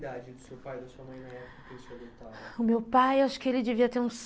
Qual era a idade do seu pai e da sua mãe na época em que quiseram te adotar? o meu pai, acho que